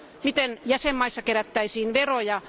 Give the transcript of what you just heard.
Miten jäsenvaltioissa kerättäisiin veroja?